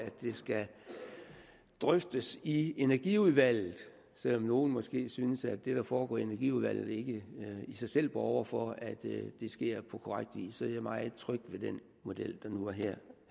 skal drøftes i energiudvalget og selv om nogle måske synes at det der foregår i energiudvalget ikke i sig selv borger for at det sker på korrekt vis så er jeg meget tryg ved den model der nu her